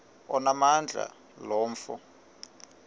onamandla lo mfo